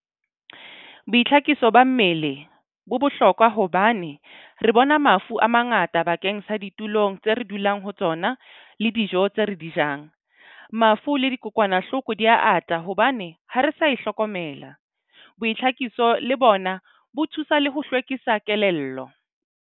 Boitlhakiso ba mmele bo bohlokwa hobane re bona mafu a mangata bakeng sa ditulong tse re dulang ho tsona le dijo tse re di jang. Mafu le dikokwanahloko di ya ata hobane ha re sa e hlokomela. Boitlhakiso le bona bo thusa le ho hlwekisa kelello.